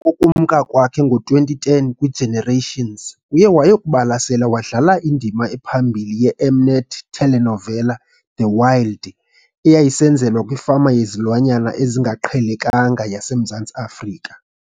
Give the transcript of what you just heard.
ukumka kwakhe ngo-2010 "kwiGenerations", uye woyokubalasela wadlala indima ephambili ye -M-Net telenovela "The Wild ," eyayisenzelwa kwifama yezilwanyana ezingaqhelekanga yaseMzantsi Afrika.